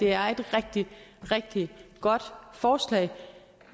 er et rigtig rigtig godt forslag